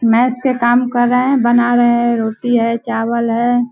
Mess के काम कर रहें हैं बना रहें हैं रोटी है चावल है।